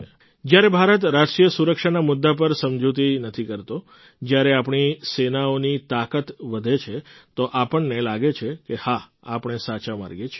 જ્યારે ભારત રાષ્ટ્રીય સુરક્ષાના મુદ્દા પર સમજૂતી નથી કરતો જ્યારે આપણી સેનાઓની તાકાત વધે છે તો આપણને લાગે છે કે હા આપણે સાચા માર્ગે છીએ